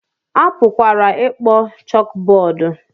A pụkwara ịkpọ chókbọọdụ